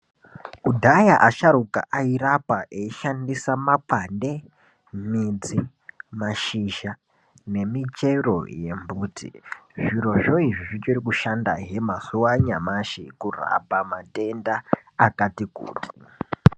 Kudhaya asharuka airapa eishandisa makwande, midzi, mashizha nemichero yembuti. Zvirozvo zvichiri kushandahe mazuwa anyamashi kurapa matenda akati kuti.